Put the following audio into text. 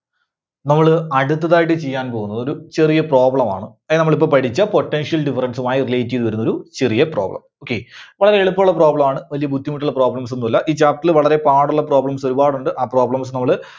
നമ്മള് അടുത്തതായിട്ട് ചെയ്യാൻ പോകുന്നത് ഒരു ചെറിയ problem ആണ്. അതിന് നമ്മളിപ്പോ പഠിച്ച potential difference മായി relate ചെയ്തുവരുന്നൊരു ചെറിയ problem, okay. വളരെ എളുപ്പമുള്ള problem ആണ് വല്യ ബുദ്ധിമുട്ടുള്ള problems ഒന്നുമില്ല. ഈ chapter ൽ വളരെ പാടുള്ള problems ഒരുപാടുണ്ട്. ആ problems നമ്മള്